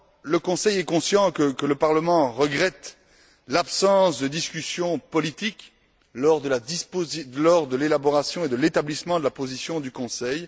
Le Conseil est conscient que le Parlement regrette l'absence de discussion politique lors de l'élaboration et de l'établissement de la position du Conseil.